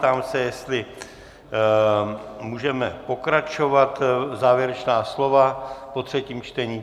Ptám se, jestli můžeme pokračovat závěrečnými slovy po třetím čtení?